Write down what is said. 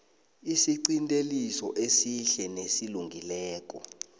isiqinteliso esihle nesilungileko